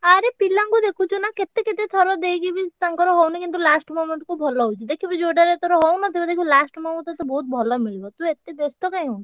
ଆରେ ପିଲାଙ୍କୁ ଦେଖୁଛୁ ନା କେତେ କେତେ ଥର ଦେଇକି ବି ତାଙ୍କର ହଉନି କିନ୍ତୁ last moment କୁ ଭଲ ହଉଛି, ଦେଖୁବୁ ଯୋଉଟାରେ ତୋର ହଉନଥିବ ଦେଖିବୁ last ମୂହୁର୍ତ୍ତରେ ତୋତେ ବହୁତ୍ ଭଲ ମିଳିବ| ତୁ ଏତେ ବେସ୍ତ କାଇଁ ହଉଚୁ?